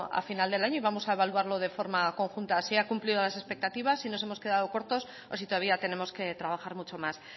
a final del año y vamos a evaluarlo de forma conjunta si ha cumplido las expectativas si nos hemos quedado cortos o si todavía tenemos que trabajar mucho más